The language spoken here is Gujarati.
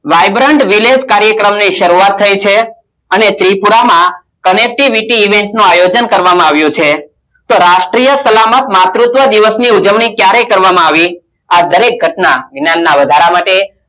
vibrant village કાર્યક્રમની શરૂઆત થઈ છે અને ત્રિપુરામા connectivity event નું આયોજન કરવામાં આવ્યું છે. તો રાષ્ટ્રીય સલામત માતૃત્વ દિવસની ઉજવણી ક્યારે કરવામાં આવી? આ દરેક ઘટના વધારા માટે